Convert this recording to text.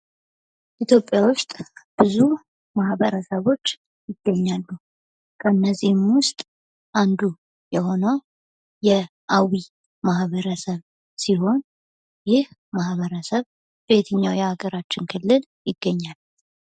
ኢትዮጵያ ውስጥ ብዙ ማህበረሰቦች ይገኛሉ ከነዚህም ውስጥ አንዱ የሆነው የአዊ ማህበረሰብ ሲሆን ይህ ማህበረሰብ በየትኛው የሀገራችን ክልል ይገናኛል ?